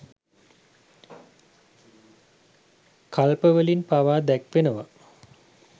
කල්පවලින් පවා දැක්වෙනවා.